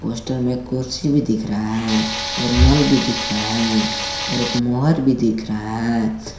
Poster में कुर्सी भी दिख रहा है और नल भी दिख रहा है और एक मोहर भी दिख रहा है।